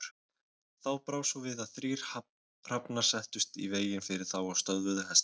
Þá brá svo við að þrír hrafnar settust í veginn fyrir þá og stöðvuðu hestana.